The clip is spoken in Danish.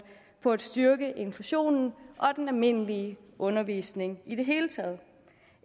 på at styrke inklusionen og den almindelige undervisning i det hele taget